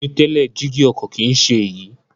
Ní tẹ́lẹ̀, jígí ọkọ̀ kìí ṣe é yí